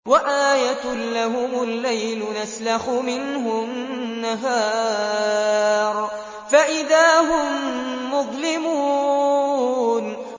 وَآيَةٌ لَّهُمُ اللَّيْلُ نَسْلَخُ مِنْهُ النَّهَارَ فَإِذَا هُم مُّظْلِمُونَ